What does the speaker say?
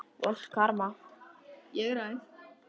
Vont karma.